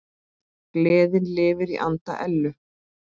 Gleðin lifir í anda Ellu.